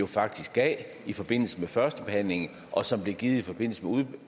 faktisk gav i forbindelse med førstebehandlingen og som blev givet i forbindelse med